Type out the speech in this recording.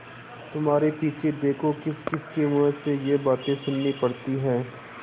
तुम्हारे पीछे देखो किसकिसके मुँह से ये बातें सुननी पड़ती हैं